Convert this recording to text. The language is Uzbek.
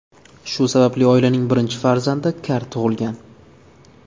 Shu sababli oilaning birinchi farzandi kar tug‘ilgan.